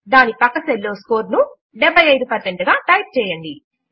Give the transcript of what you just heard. దాని ప్రక్క సెల్ లో స్కోర్ ను 75 గా టైప్ చేయండి